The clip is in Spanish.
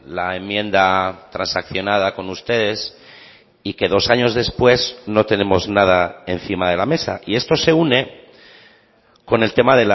la enmienda transaccionada con ustedes y que dos años después no tenemos nada encima de la mesa y esto se une con el tema